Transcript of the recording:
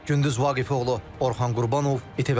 Gündüz Vaqifoğlu, Orxan Qurbanov, İTV Xəbər.